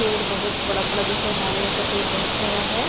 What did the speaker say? पेड़ बहोत बड़ा बड़ा दिख रहा है नारियल का पेड़ बहोत सारा है।